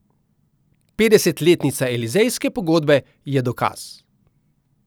Petdesetletnica elizejske pogodbe je dokaz.